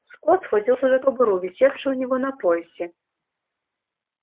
скотт схватился за кобуру висевшую у него на поясе